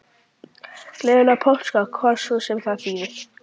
Gleðilega páska, hvað svo sem það þýðir.